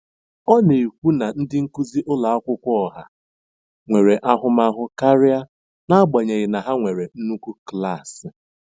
Ọ na-ekwu na ndị nkuzi ụlọ akwụkwọ ọha nwere ahụmahụ karịa, n'agbanyeghị na ha nwere nnukwu klaasị.